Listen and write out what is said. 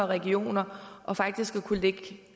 regioner og faktisk at kunne lægge